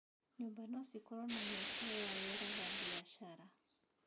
Nyũmba no cikorwo na mĩeke ya wĩra ba biacara.